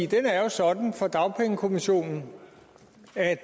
den er jo sådan for dagpengekommissionen at